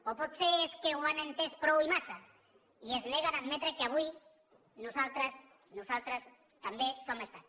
o potser és que ho han entès prou i massa i es neguen a admetre que avui nosaltres també som estat